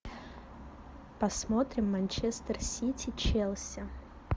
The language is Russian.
посмотрим манчестер сити челси